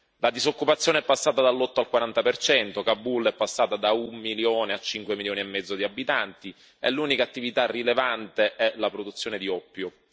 La disoccupazione è passata dall'8 al 40 per cento, Kabul è passata da un milione a cinque milioni e mezzo di abitanti, e l'unica attività rilevante è la produzione di oppio.